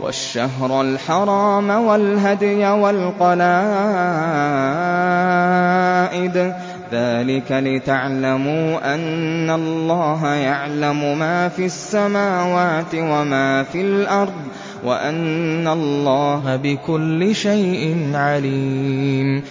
وَالشَّهْرَ الْحَرَامَ وَالْهَدْيَ وَالْقَلَائِدَ ۚ ذَٰلِكَ لِتَعْلَمُوا أَنَّ اللَّهَ يَعْلَمُ مَا فِي السَّمَاوَاتِ وَمَا فِي الْأَرْضِ وَأَنَّ اللَّهَ بِكُلِّ شَيْءٍ عَلِيمٌ